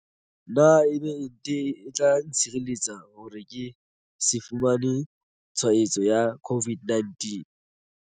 Na ebe ente e tla ntshireletsa hore ke se fumane tshwaetso ya COVID-19?